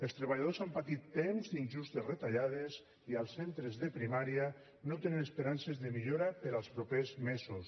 els treballadors han patit temps d’injustes retallades i els centres de primària no tenen esperances de millora per als propers mesos